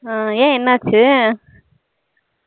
ஆஹ் ஏன் என்ன ஆச்சி